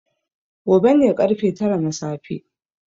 Gobe ne ƙarfe tara na safe.